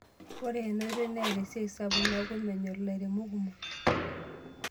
Ore enaoitoi neeta esiai sapuk neaku menyor ilairemok kumok.